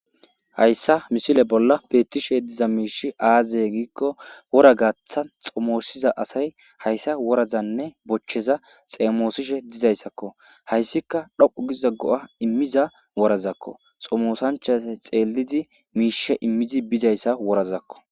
Hayssa misile bolla peettishe diza miishi aazey giikko wora gaaththa xomoosiza asay hayssa worazanne bochcheza xeemoosishe dizayssakko hayssika dhoqqu giza go7a immiza worazakko xomoosanchase xeelidi miishe immizi bizayssa worazakko.